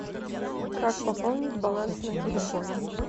как пополнить баланс на телефоне